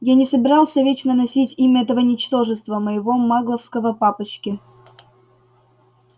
я не собирался вечно носить имя этого ничтожества моего магловского папочки